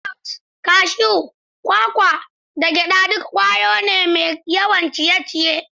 Grounds, cashews, kwakwa, da gyada duk ƙwaya ce mai yawan ciye-ciye.